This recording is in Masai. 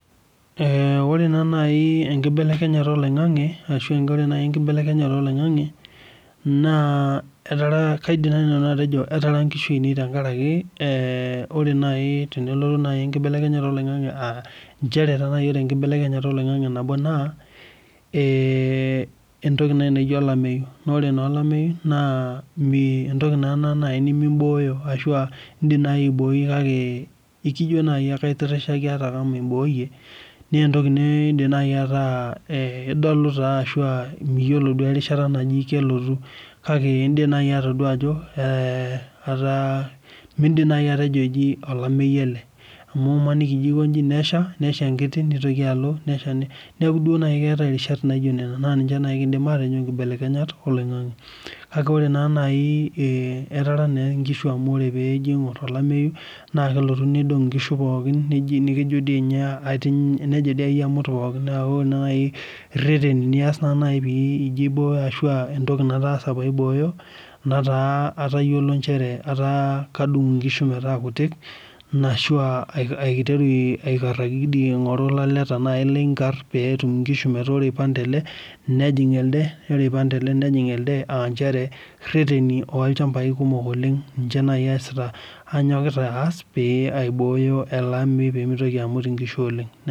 Ore naa nai enkibelekenyata oloing'ang'ang'e naa kaidim nanu atejo etara ngushu ainei tenkaraki eeh ore nai tenelotu enkibelekenyata oloing'ang'ang'e aa nchere ore enkibelekenyata oloing'ang'ang'e nabo naa entoki nai naijo olameyu Ore naa olameyu naa entoki naa nai nimim'booyo ashu aa in'dim nai aiboi kake ikijo nai aitirhishai atakama imbooyie neentoki niidim nai ataa idolu taa ashua miyiolo duo erishata naji kelotu kake in'dim nai atodua ajo etaa mi idim nai atejo mee alameyu ele amu imaniki ijo akonchi nesha enkiti nitoki alo neaku duo keetai irishat naijo nena nai kiidim atejo nkibelekenyat oling'ang'e Kake ore naa nai eeh etara naa ngishu amu ore piijo aingur olameyu naa kelotu neidong' ingishu pookin nejo dii amut pookin naa ore nai irhereni nias naa nai piijo aibooyo aah piijo entoki nataasa piibooyo nataa atayiolo nchere ataa kadung' ngishu metaa kutik anaa aiteru sii aikarhaki ilaleta tenailiinkar peetum ngishu metaa ore eipang' tele nejing elde ore eipang tele nejing elde aah nchere rherheni oolchambai kumok oleng ninche nai anyokita aas pee aibooyo ele ameyu peemitoki amut ingishu oleng'